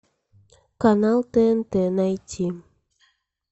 канал тнт найти